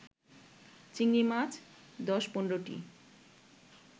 চিংড়িমাছ ১০-১৫টি